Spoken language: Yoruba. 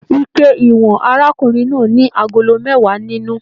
Ike ìwọ̀n arákùnrin náà ní agolo mẹwa nínú.